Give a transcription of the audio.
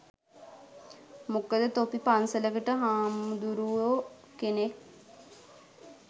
මොකද තොපි පන්සලකට හාමුදුරුවො කෙනෙක්